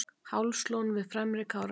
hálslón við fremri kárahnjúk